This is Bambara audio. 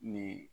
Ni